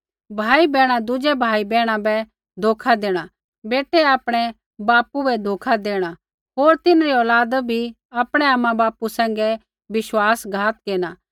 भाईबैहणा दुज़ै भाईबैहणा बै धोखा देणा बेटै आपणै बापू बै धोखा देणा होर तिन्हरी औलादा बी आपणै आमाबापू सैंघै विश्वासघात केरना